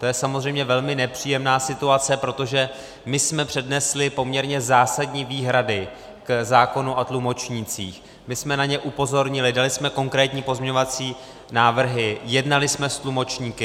To je samozřejmě velmi nepříjemná situace, protože my jsme přednesli poměrně zásadní výhrady k zákonu o tlumočnících, my jsme na ně upozornili, dali jsme konkrétní pozměňovací návrhy, jednali jsme s tlumočníky.